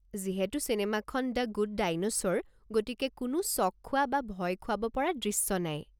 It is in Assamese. যিহেতু চিনেমাখন দ্য গুড ডাইন'ছ'ৰ, গতিকে কোনো চঁক খোৱা বা ভয় খুৱাব পৰা দৃশ্য নাই।